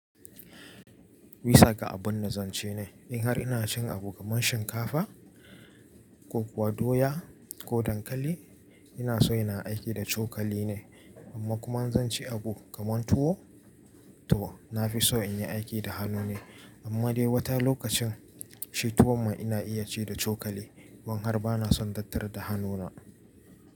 Bisa ga abun da zan ce ne, in har ina cin abu kamar shinkafa, ko kuwa doya ko dankali ina so ina aiki da cokali ne. Amma kuma in zan ci abu kaman tuwo to na fi so in yi aiki da hannu ne. Amma dai wata lokacin shi tuwon ma ina iya ci da cokali in har ba na son tattara da hannuna.